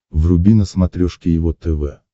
вруби на смотрешке его тв